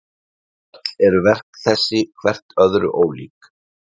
Öll eru verk þessi hvert öðru ólík.